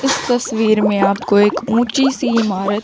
इस तस्वीर में आपको एक ऊंची सी इमारत--